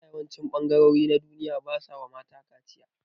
Yanzu a yawancin ɓangarori na duniya basawa mata kaciya